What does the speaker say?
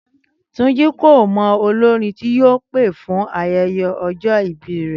Túnjí kò mọ olórin tí yóò pè fún ayẹyẹ ọjọ́ ìbí rẹ̀